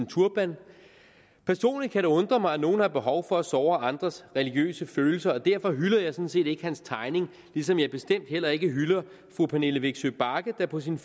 turbanen personligt kan det undre mig at nogle har behov for at såre andres religiøse følelser og derfor hylder jeg sådan set ikke hans tegning ligesom jeg bestemt heller ikke hylder fru pernille vigsø bagge der på sin